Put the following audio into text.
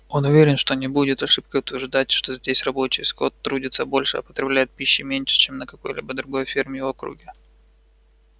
он уверен что не будет ошибкой утверждать что здесь рабочий скот трудится больше а потребляет пищи меньше чем на какой-либо другой ферме в округе